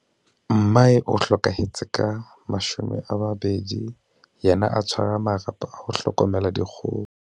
Mmae o hlokahetse ka 2000, yena a tshwara marapo a ho hlokomela dikgoho.